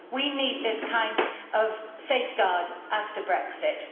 We need this kind of safeguard after Brexit.